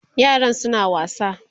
yaran suna wasa